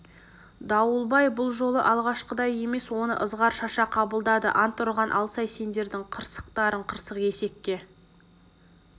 дауылбай бұл жолы алғашқыдай емес оны ызғар шаша қабылдады ант ұрған алсай сендердің қырсықтарың қырық есекке